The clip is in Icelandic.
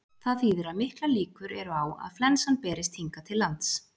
Það þýðir að miklar líkur eru á að flensan berist hingað til lands.